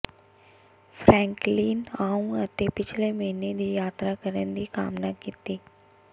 Franklin ਆਉਣ ਅਤੇ ਪਿਛਲੇ ਮਹੀਨੇ ਦੀ ਯਾਤਰਾ ਕਰਨ ਦੀ ਕਾਮਨਾ ਕੀਤੀ